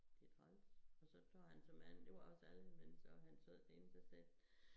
Det træls og så tager han såmen det var også alle men så han sad derinde så sagde